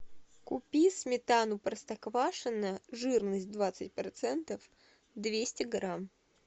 купи сметану простоквашино жирность двадцать процентов двести грамм